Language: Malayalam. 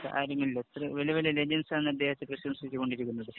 കാര്യങ്ങളില്‍. എത്ര വല്യ വല്യ ലെജണ്ട്സ് ആണ് അദ്ദേഹത്തെ പ്രശംസിച്ചു കൊണ്ടിരിക്കുന്നത്.